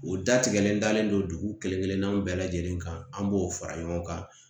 O da tigɛlen dalen don dugu kelen kelenna bɛɛ lajɛlen kan an b'o fara ɲɔgɔn kan